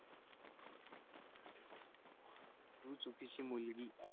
तू चुकीची मुलगी